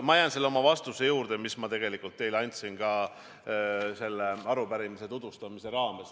Ma jään selle oma vastuse juurde, mis ma teile andsin selle arupärimise tutvustamise raames.